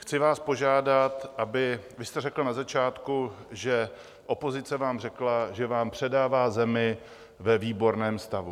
Chci vás požádat, aby - vy jste řekl na začátku, že opozice vám řekla, že vám předává zemi ve výborném stavu.